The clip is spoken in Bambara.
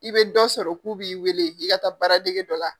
I bɛ dɔ sɔrɔ k'u b'i weele k'i ka taa baaradege dɔ la.